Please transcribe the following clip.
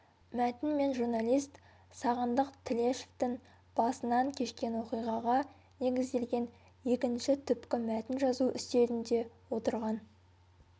мәтін мен журналист сағындық тілешевтің басынан кешкен оқиғаға негізделген екінші түпкі мәтін жазу үстелінде отырған